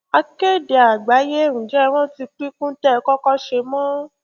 akéde àgbáyé ǹjẹ ẹ rántí píkún tẹ ẹ kọkọ ṣe mọ